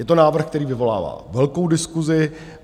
Je to návrh, který vyvolává velkou diskusi.